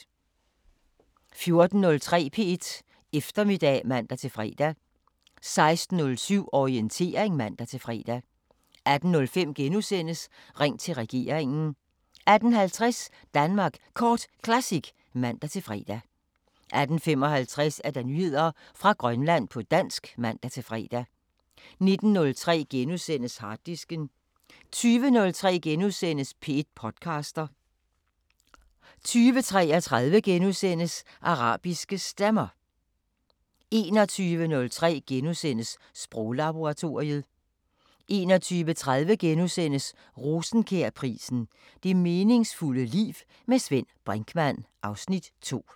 14:03: P1 Eftermiddag (man-fre) 16:07: Orientering (man-fre) 18:05: Ring til regeringen * 18:50: Danmark Kort Classic (man-fre) 18:55: Nyheder fra Grønland på dansk (man-fre) 19:03: Harddisken * 20:03: P1 podcaster * 20:33: Arabiske Stemmer * 21:03: Sproglaboratoriet * 21:30: Rosenkjærprisen: Det meningsfulde liv. Med Svend Brinkmann (Afs. 2)*